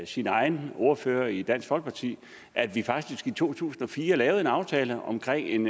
sin egen ordfører i dansk folkeparti at vi faktisk i to tusind og fire lavede en aftale omkring en